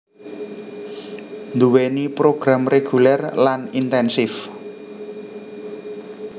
nduwèni program reguler lan intensif